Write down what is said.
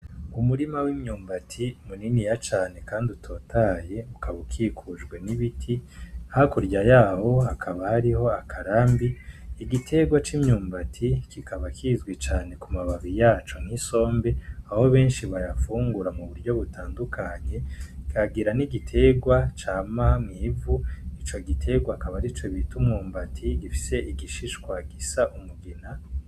Umurima wimyumbati muniniya cane kandi utotahaye ukaba ukikujwe nibiti hakurya yaho hakaba hariho akarambi. Igiterwa c'imyumbati kikaba kizwi cane ku mababi yaco nk'isombe aho benshi bayafungura muburyo butandukanye kagira nigiterwa cama mw'ivu ico giterwa akaba arico bita umwumbati gifise igishishwa gisa umugina